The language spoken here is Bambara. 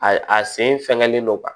A a sen fɛnlen don